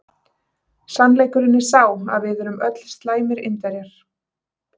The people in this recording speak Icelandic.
Sannleikurinn er sá að við erum öll slæmir Indverjar.